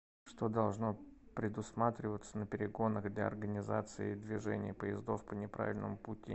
что должно предусматриваться на перегонах для организации движения поездов по неправильному пути